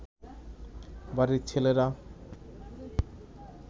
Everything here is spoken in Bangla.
বাড়ির ছেলেরা